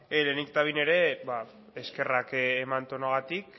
lehenik eta behin eskerrak eman tonuagatik